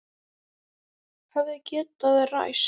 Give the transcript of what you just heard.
Hefði getað ræst.